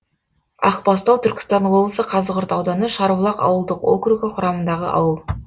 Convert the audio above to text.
ақбастау түркістан облысы қазығұрт ауданы шарбұлақ ауылдық округі құрамындағы ауыл